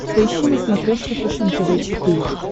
поищи на смотрешке фэшен тв четыре к